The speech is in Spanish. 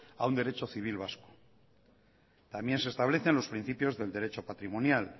a un derecho civil vasco también se establecen los principios del derecho patrimonial